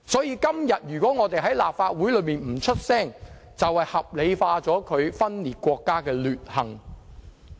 因此，如果我們今天不在立法會發聲，便是合理化他分裂國家的劣行。